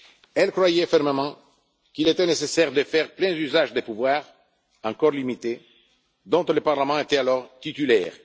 Elle croyait fermement qu'il était nécessaire de faire un plein usage des pouvoirs, encore limités, dont le Parlement était alors titulaire.